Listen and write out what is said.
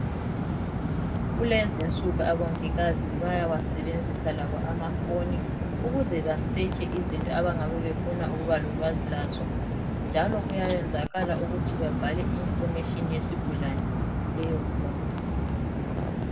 Kulezinsuku abongikazi bayawasebenzisa labo amafoni ukuze basetshe izinto abangane befuna ukuba lolwazi lazo njalo kuyayenzakala ukuthi babhale i- medication yesigulane kuleyofoni.